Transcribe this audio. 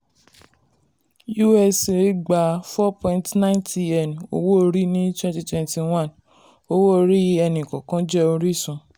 usa gba $4.9tn owó orí ní 2021 owó orí ẹni kọ̀ọ̀kan jẹ́ orísun.